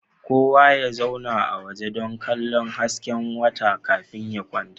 Kowa ya zauna a waje dan kallo hasken wata kafin ya kwanta